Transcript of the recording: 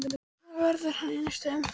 Hvar verður hann í næstu umferð?